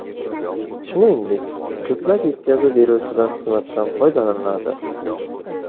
Shuningdek, ko‘plab yetkazib beruvchilar xizmatidan foydalaniladi.